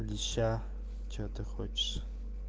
леща что ты хочешь